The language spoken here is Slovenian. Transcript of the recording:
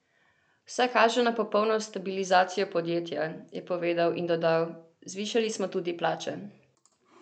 Vse kaže na popolno stabilizacijo podjetja," je povedal in dodal: "Zvišali smo tudi plače.